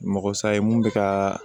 Mɔgɔ sa ye mun bɛ ka